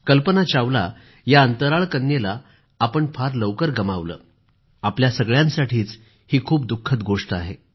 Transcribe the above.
कल्पना चावला या अंतराळ कन्येला आपण फार लवकर गमावलं ही आपल्या सगळ्यांसाठीच खूप दुःखद गोष्ट आहे